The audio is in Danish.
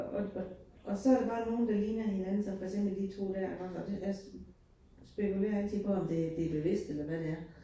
Og og og så det bare nogle, der ligner hinanden som for eksempel de 2 dér, hvor det altså spekulerer altid på, om det det bevidst eller hvad det er